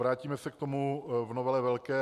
Vrátíme se k tomu v novele velké.